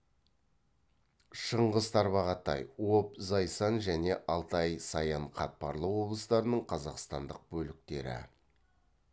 шыңғыс тарбағатай обь зайсан және алтай саян қатпарлы облыстарының қазақстандық бөліктері